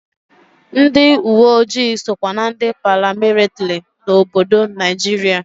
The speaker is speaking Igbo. Ndị uweojii sokwa na ndị paramilitiri n'obodo Naijiria.